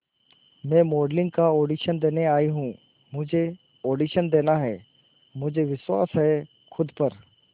मैं मॉडलिंग का ऑडिशन देने आई हूं मुझे ऑडिशन देना है मुझे विश्वास है खुद पर